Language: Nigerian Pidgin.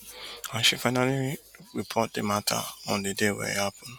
and she actually report di mata on di day wey e happun